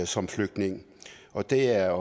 som flygtning og det er